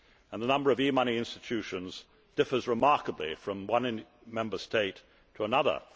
The number of e money institutions differs remarkably from one Member State to another.